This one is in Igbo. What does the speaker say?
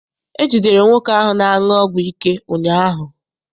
E jidere nwoke ahụ na-aṅụ ọgwụ ike ụnyaahụ.